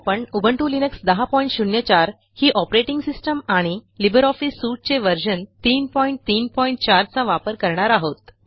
आपण GNU Linux ही operating system आणि लिब्रिऑफिस सूट चे व्हर्शन 334 चा वापर करणार आहोत